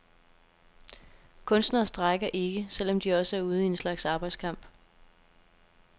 Kunstnere strejker ikke, selv om de også er ude i en slags arbejdskamp.